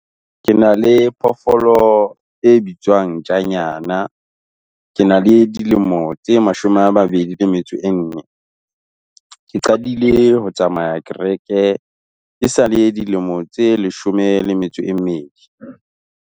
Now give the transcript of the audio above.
Ke na le phoofolo e bitswang ntjanyana. Ke na le dilemo tse mashome a mabedi le metso e nne. Ke qadile ho tsamaya kereke ke sa le dilemo tse leshome le metso e mmedi.